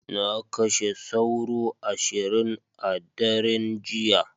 Na kashe sauro ashirin a daren jiya.